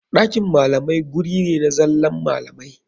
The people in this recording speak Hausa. Ɗakin malamai guri ne na zallan malamai.